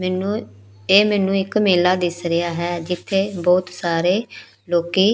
ਮੈਨੂੰ ਇਹ ਮੈਨੂੰ ਇੱਕ ਮੇਲਾ ਦਿੱਸ ਰਿਹਾ ਹੈ ਜਿੱਥੇ ਬਹੁਤ ਸਾਰੇ ਲੋਕੀ--